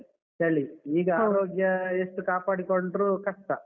ಚಳಿ ಈಗ ಆರೋಗ್ಯ ಎಷ್ಟು ಕಾಪಾಡಿಕೊಂಡ್ರು ಕಷ್ಟ.